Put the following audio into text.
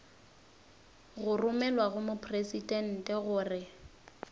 go romelwa go mopresidente gore